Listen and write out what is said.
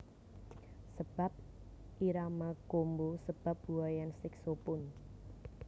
Sebab irama combo sebab buaian saxophone